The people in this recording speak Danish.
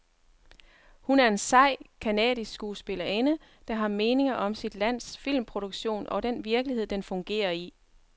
Hun er en sej, canadisk skuespillerinde, der har meninger om sit lands filmproduktion og den virkelighed, den fungerer i.